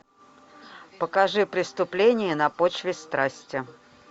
покажи преступление на почве страсти